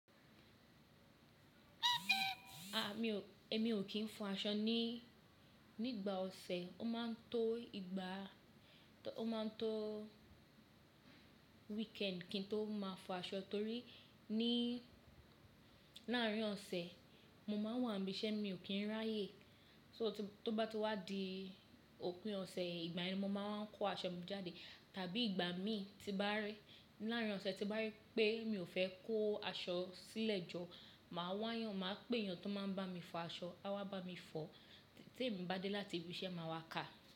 À mi ò, èmi ò kí ń fọ aṣọ ní, nígbà ọ̀sẹ̀, ó ma ń tó ìgbà, tó ó ma ń tó weekend kí n tó má fo aṣọ torí í ní láàárín ọ̀sẹ̀ mo ma ń wà ní ibi iṣẹ́ mi ò kí ń ráyè. So tí, tó bá ti wá di òpin ọ̀sẹ̀ ìgbà yẹn ni mo wa ma ń kó aṣọ mi jáde. Tàbí ìgbà mi tí bá rí, láàárín ọ̀sẹ̀ tí n bá rí pé mi ò fẹ́ kó aṣọ sí ilẹ̀ jọ, mà á wá yàn, mà á pé èèyàn tó má ń bá mi fọ aṣọ, á wá bá mi fọ, tèmi bá dé láti ibi iṣẹ́ mà á wá kà.